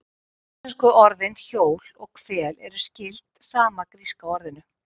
Íslensku orðin hjól og hvel eru skyld sama gríska orðinu.